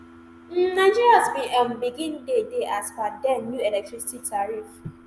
im nigerians bin um begin dey dey as per den new electricity tariff